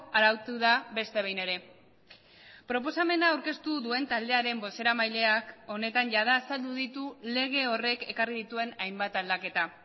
arautu da beste behin ere proposamena aurkeztu duen taldearen bozeramaileak honetan jada azaldu ditu lege horrek ekarri dituen hainbat aldaketa